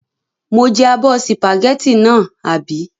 Mo jẹ abọ́ sìpàgẹ́tì náà, àbí?